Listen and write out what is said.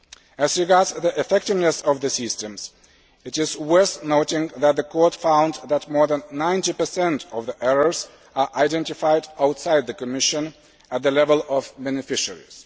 As regards the effectiveness of the systems, it is worth noting that the Court found that more than 90 of the errors are identified outside the Commission at the level of beneficiaries.